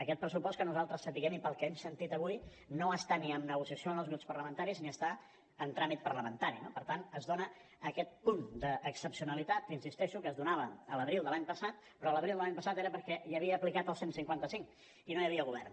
aquest pressupost que nosaltres sapiguem i pel que hem sentit avui no està ni en negociació amb els grups parlamentaris ni està en tràmit parlamentari no per tant es dona aquest punt d’excepcionalitat que insisteixo que es donava l’abril de l’any passat però l’abril de l’any passat era perquè hi havia aplicat el cent i cinquanta cinc i no hi havia govern